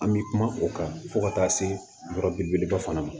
An bɛ kuma o kan fo ka taa se yɔrɔ belebeleba fana ma